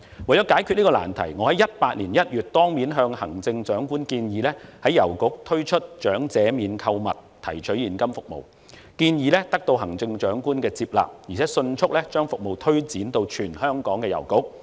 為解決這個難題，我在2018年1月當面向行政長官建議，在郵局推出長者免購物提取現金服務，建議得到行政長官的接納，而有關服務更迅速推展至全香港的郵局。